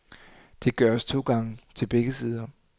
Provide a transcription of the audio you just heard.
Det gøres to gange til begge sider.